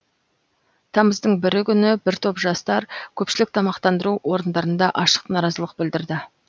тамыздың бірі күні бір топ жастар көпшілік тамақтандыру орындарында ашық наразылық білдірді